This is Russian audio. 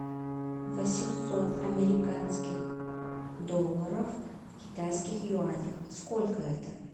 восемьсот американских долларов в китайских юанях сколько это